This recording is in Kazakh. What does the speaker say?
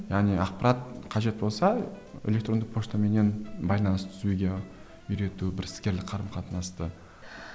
яғни ақпарат қажет болса электронды почтаменен байланыс түсуге үйрету бір іскерлік қарым қатынасты